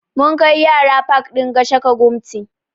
Mun kai yara pak ɗin Gashaka Gumti